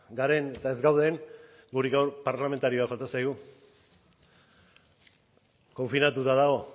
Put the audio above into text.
garen eta ez gauden guri gaur parlamentario bat falta zaigu konfinatuta dago